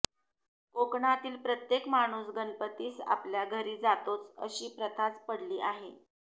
कोकणातील प्रत्येक माणूस गणपतीस आपल्या घरी जातोच अशी प्रथाच पडली आहे